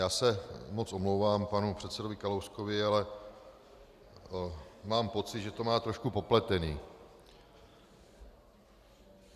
Já se moc omlouvám panu předsedovi Kalouskovi, ale mám pocit, že to má trošku popletené.